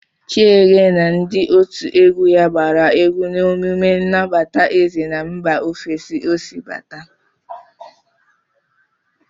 Chiege na ndị otu egwu ya gbara egwu na emume nnabata eze na mba ofesi ọ si bata.